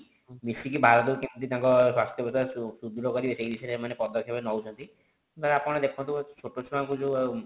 ମିସିକି ଭାରତ କୁ କେମିତି ତାଙ୍କର ସ୍ୱାସ୍ଥ୍ୟ ବ୍ୟବସ୍ଥା ସୁଦୃଢ କରିବେ ସେଇ ବିଷୟରେ ସେମାନେ ପଦକ୍ଷେପ ନେଉଛନ୍ତି ବା ଆପଣ ଦେଖନ୍ତୁ ଛୋଟ ଛୁଆଙ୍କୁ ଯେଉଁ